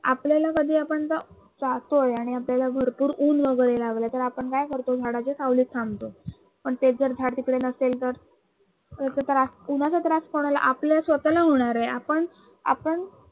आपल्याला कधी आपण जर जातोय आणि आपल्याला भरपूर ऊन वगरे लागल तर आपण काय करतो झाडाच्या सावलीत थांबतो आणि तेच जर झाड तिकडे नसेल तर उन्हाचा त्रास कोणाला आपल्याला स्वतःला होणार आहे. आपण आपण